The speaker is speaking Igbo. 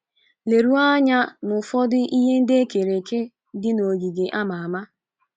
Leruo anya n'ufọdụ ihe ndi ekere eke dị n'ogige a ama ama